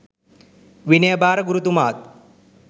විනය භාර ගුරුතුමාත්